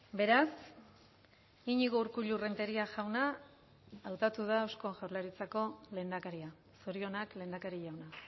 beraz iñigo urkullu renteria jauna hautatu da eusko jaurlaritzako lehendakaria zorionak lehendakari jauna